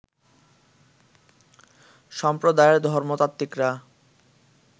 সম্প্রদায়ের ধর্মতাত্ত্বিকরা